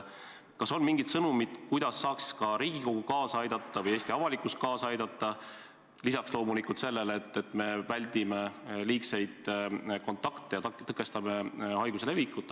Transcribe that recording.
Kas on mingi sõnum, kuidas saaks ka Riigikogu kaasa aidata või Eesti avalikkus kaasa aidata lisaks sellele, et loomulikult me väldime liigseid kontakte ja püüame tõkestada haiguse levikut?